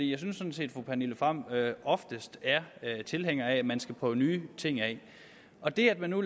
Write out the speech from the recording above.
jeg synes sådan set fru pernille frahm oftest er tilhænger af at man skal prøve nye ting af og det at man nu